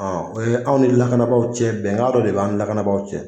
O ye anw ni lakanabaaw cɛ bɛnkan dɔ de b'an ni lakanabagaw cɛ.